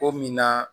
O mina